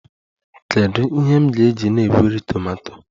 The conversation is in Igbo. Kedu ihe m ga-eji na-egweri tomato?